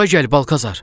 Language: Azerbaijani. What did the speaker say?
Bura gəl Balkazar.